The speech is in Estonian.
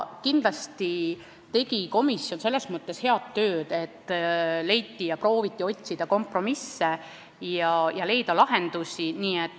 Kindlasti tegi komisjon selles mõttes head tööd, et prooviti otsida kompromisse ja leida lahendusi.